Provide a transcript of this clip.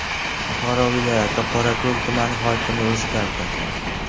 Buxoro viloyati Qorako‘l tumani hokimi o‘zgardi.